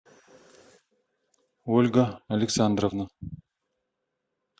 ольга александровна